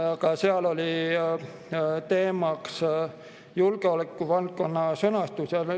Ka seal oli teemaks julgeolekuvaldkonna sõnastus.